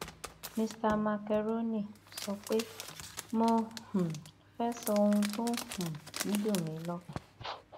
mista makerónì sọ pé mo um fẹẹ sọ ohun tó um ń dùn mí lọkàn